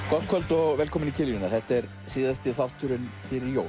gott kvöld og velkomin í kiljuna þetta er síðasti þátturinn fyrir jól